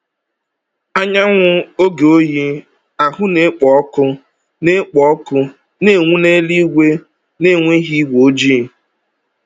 Anyanwụ oge oyi ahụ na-ekpo ọkụ na-ekpo ọkụ na-enwu n’eluigwe na-enweghị igwe ojii.